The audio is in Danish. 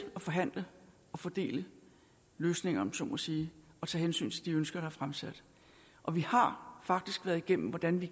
at forhandle og fordele løsninger om jeg så må sige og tage hensyn til de ønsker der er fremsat og vi har faktisk været igennem hvordan vi